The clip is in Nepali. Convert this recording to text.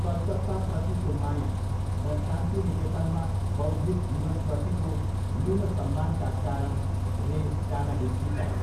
कलकत्ताप्रतिको माया र शान्ति निकेतनमा बौद्धिक जीवनप्रतिको न्यून सम्मानका कारण रे जान हिच्किचाए।